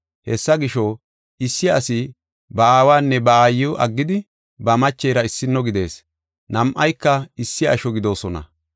‘Hessa gisho, Issi asi ba aawanne ba aayiw aggidi ba machera issino gidees, nam7ayka issi asho gidoosona.’